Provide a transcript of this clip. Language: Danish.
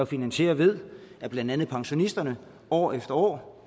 finansieret ved at blandt andet pensionisterne år efter år